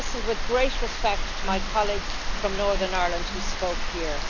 I listened with great respect to my colleagues from Northern Ireland who spoke here.